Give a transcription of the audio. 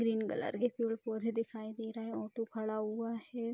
Green colour के फूल पौधे दिखाई दे रहे हैं ऑटो खड़ा हुआ है।